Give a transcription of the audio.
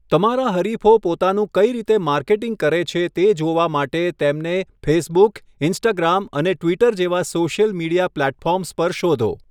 તમારા હરિફો પોતાનું કઇ રીતે માર્કેટિંગ કરે છે તે જોવા માટે તેમને ફેસબુક, ઇન્સ્ટાગ્રામ અને ટ્વિટર જેવા સોશિયલ મીડિયા પ્લેટફોર્મ્સ પર શોધો.